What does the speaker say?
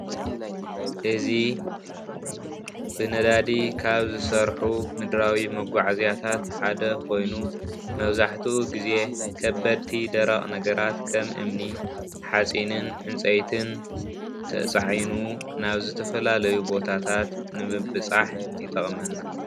እዚ ብነዳዲ ካብ ዝሰርሑ ምድራዊ መጓዓዝያታት ሓደ ኮይኑ መብዛሕትኡ ግዜ ከበድቲ ደረቕ ነገራት ከም እምኒ ሓፂንን ዕንጸይትን ተጻዒኑ ናብ ዝተፈላለዩ ቦታታት ንምብጻሕ ይጠቕመና።